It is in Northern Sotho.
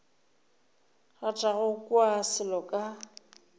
rata go kwa selo ka